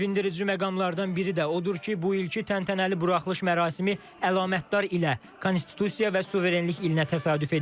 Sevindirici məqamlardan biri də odur ki, bu ilki təntənəli buraxılış mərasimi əlamətdar ilə, Konstitusiya və suverenlik ilinə təsadüf edir.